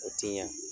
O ti ɲa